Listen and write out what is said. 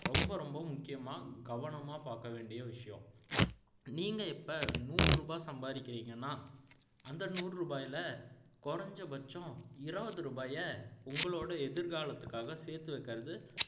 ரொம்ப ரொம்ப முக்கியமா கவனமா பார்க்க வேண்டிய விஷயம் நீங்க இப்போ நூறு ரூபாய் சம்பாறிக்கிறீங்கன்னா அந்த நூறு ரூபாய்ல குறைஞ்சபட்சம் இருபது ரூபாயை உங்களோட எதிர்காலத்துக்காக சேர்த்து வைக்கிறது